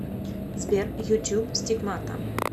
сбер ютюб стигмата